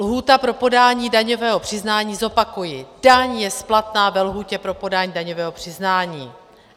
Lhůta pro podání daňového přiznání, zopakuji: Daň je splatná ve lhůtě pro podání daňového přiznání.